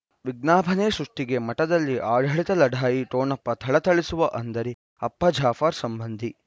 ವಿಜ್ಞಾಪನೆ ಸೃಷ್ಟಿಗೆ ಮಠದಲ್ಲಿ ಆಡಳಿತ ಲಢಾಯಿ ಠೊಣಪ ಥಳಥಳಿಸುವ ಅಂದರೆ ಅಪ್ಪ ಜಾಫರ್ ಸಂಬಂಧಿ